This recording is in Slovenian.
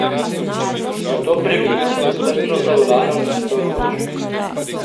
Zato previdnost in strpnost za volanom nista odveč.